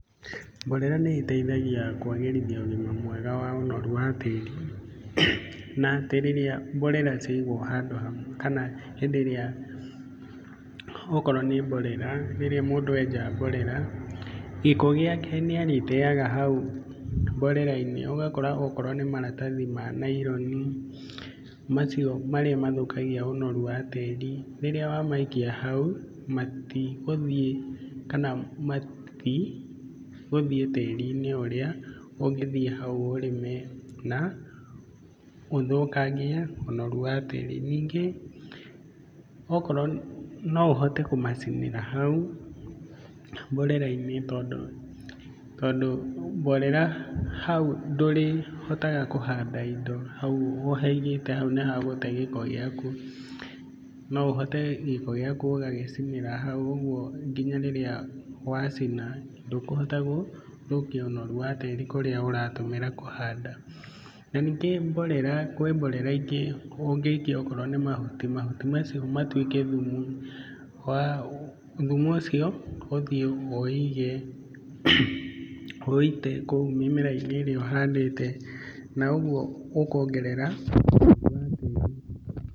Mborera nĩ ĩteithagia kwagĩritha ũgima mwega, ũnoru wa tĩri na atĩ rĩrĩa mborera ciaigwo handũ hamwe kana hĩndĩ ĩrĩa okorwo nĩ mborera rĩrĩ mundũ enja mborera, gĩko ĩake nĩ arĩtega hau mborera-inĩ, ũgakora okorwo nĩ maratathi ma naironi macio marĩ mahukagia ũnoru wa tĩrĩ, rĩrĩa wamaikia hau matigũthiĩ tĩrinĩ ũrĩa ũngĩthiĩ hau ũrĩme na ũthũkangie ũnoru wa tĩri. Ningĩ okorwo no ũhote kũmacinĩra hau mborera-inĩ tondũ mborera hau ndũrĩhotaga kũhanda indo hau ũhaigĩte nĩ ha gũte gĩko gĩaku. No ũhote gĩko gĩaku ũgagĩcinĩra hau ũguo nginya rĩrĩa wacina ndũkũhota gũthũkia ũnoru wa tĩrĩ kũrĩa ũratũmĩra kũhanda na ningĩ mborera kwĩ mborera ingĩ ũngĩikia okorwo nĩ mahuti. Mahuti macio matuĩke thumu wa , thumu ũcio ũthiĩ ũũige, ũũite kũu mĩrainĩ ĩrĩa ũhandĩte na ũguo ũkongerera ũnoru wa tĩri.